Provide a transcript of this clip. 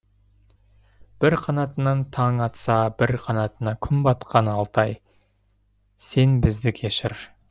бір қанатынан таң атсабір қанатына күн батқан алтай сен бізді кешір